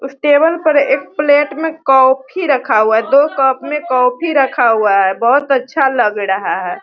उसे टेबल पर एक प्लेट में कॉफी रखा हुआ है दो कप में कॉफी रखा हुआ है बहुत अच्छा लग रहा है।